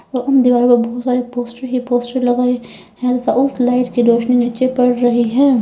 दिवालों बहुत सारे पोस्टर ही पोस्टर लगे हैं उस लाइट की रोशनी नीचे पड़ रही है।